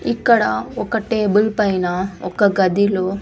ఇక్కడ ఒక టేబుల్ పైన ఒక గదిలో--